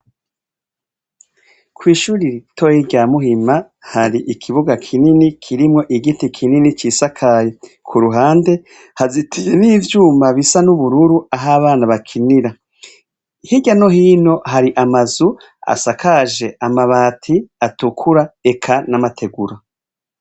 Kwishure ritoyi rya Muhima hari ikibuga kinini kirimwo igiti kinini cisakaye kuruhande hazitiye n' ivyuma bisa n' ubururu aho abana bakinira hirya no hino hari amazu asakaje amabati atukura eka n' amategura.